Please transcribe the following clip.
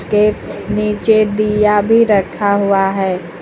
एक नीचे दीया भी रखा हुआ है।